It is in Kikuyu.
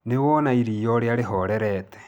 Nĩwona iria urĩa rĩhorerete